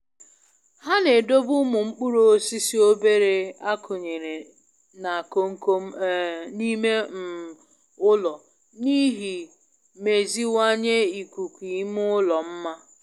Ha n'edobe umu mkpuru osisi obere akunyere na komkom um n'ime um ụlọ n'ihi meziwanye ikuku ime ụlọ mma.